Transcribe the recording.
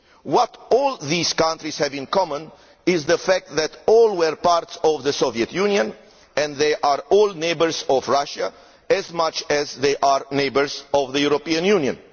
What all these countries have in common is the fact that they were all part of the Soviet Union, and they are all neighbours of Russia as much as they are neighbours of the European Union.